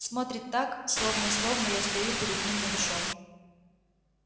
смотрит так словно словно я стою перед ним нагишом